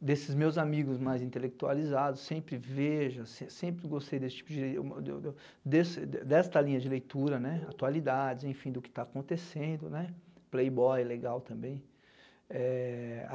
desses meus amigos mais intelectualizados, sempre vejo, se sempre gostei desse tipo de, deu deu desse de desta linha de leitura, né, atualidades, enfim, do que está acontecendo, né, Playboy, legal também.